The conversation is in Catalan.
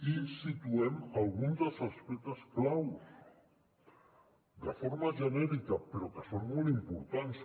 i situem alguns dels aspectes claus de forma genèrica però que són molt impor·tants